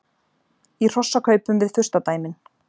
Í hrossakaupum við furstadæmin